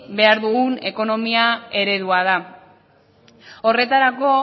behar dugun ekonomia eredua da horretarako